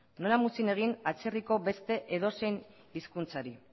nola muzin egin atzerriko beste edozein hizkuntzari